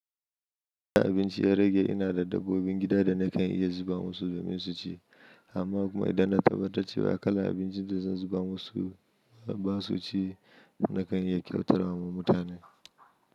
Idan abinci ya rage ina da dabbobin gida da nakan iya zuba musu domin su ci amma kuma idan na tabbatar cewa kalar abincin da zan zuba musu ba su ci nakan iya kyautar wa mutane.